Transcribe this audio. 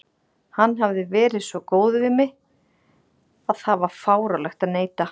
Hann hafði verið svo góður við mig að það var fáránlegt að neita.